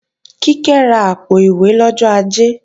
Kíkẹ́ ra àpò-ìwé lọ́jọ́ Ajé